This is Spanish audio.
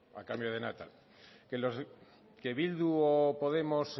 a cambio de nada que bildu o podemos